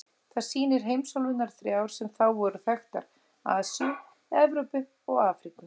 Það sýnir heimsálfurnar þrjár sem þá voru þekktar: Asíu, Evrópu og Afríku.